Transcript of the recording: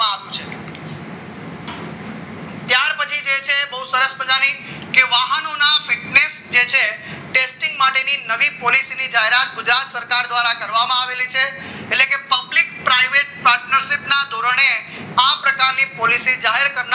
તો સરસ મજાની વાહનોના fitness જે છે testing માટેની નવી પોલિસીની જાહેરાત ગુજરાત સરકાર દ્વારા કરવામાં આવી છે એટલે કે public private partnership ના ધોરણે આ પ્રકારની પોલીસીસ જાહેર કરનાર